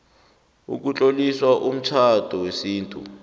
ukutlolisa umtjhado wesintu